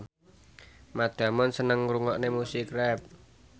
Matt Damon seneng ngrungokne musik rap